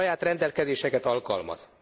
Saját rendelkezéseket alkalmaz.